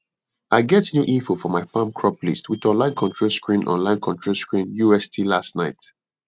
i get new info for my farm crop list with online control screen online control screen ust last night